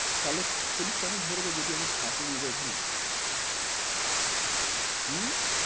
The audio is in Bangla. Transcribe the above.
থালে পুলিশ কেন ধরবে যদি আমি খাট নিয়ে যাই ওখানে? উম